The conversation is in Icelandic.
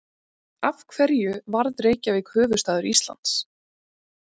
Af hverju varð Reykjavík höfuðstaður Íslands?